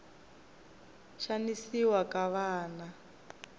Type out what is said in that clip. xanisiwa ka vana